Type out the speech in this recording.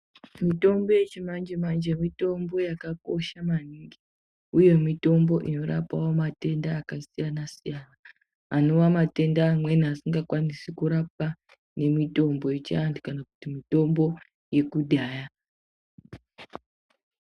Mitombo yechimanje manje mitombo yakakosha maningi uye mitombo inorapawo matenda akasiyana siyana anova matenda amweni asingakwanisi kurapwa ngemitombo yechiantu kana kuti mitombo yekudhaya.